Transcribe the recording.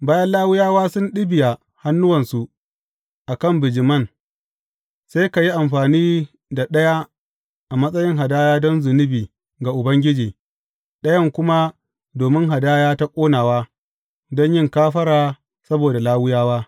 Bayan Lawiyawa sun ɗibiya hannuwansu a kan bijiman, sai ka yi amfani da ɗaya a matsayin hadaya don zunubi ga Ubangiji, ɗayan kuma domin hadaya ta ƙonawa, don yin kafara saboda Lawiyawa.